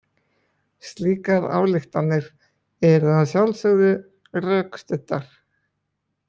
Slíkar ályktanir eru að sjálfsögðu rökstuddar.